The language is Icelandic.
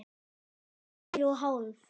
Tvær og hálf.